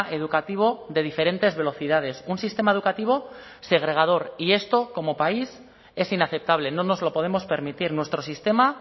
educativo de diferentes velocidades un sistema educativo segregador y esto como país es inaceptable no nos lo podemos permitir nuestro sistema